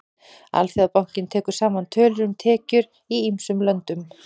Alþjóðabankinn tekur saman tölur um tekjur í ýmsum löndum.